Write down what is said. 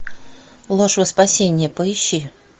ложь во спасение поищи